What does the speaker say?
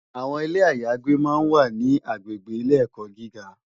Awòn Ilé àyágbé mà n wá ni àgbégbé Ilé èkò gigá